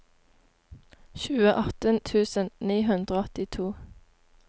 tjueåtte tusen ni hundre og åttito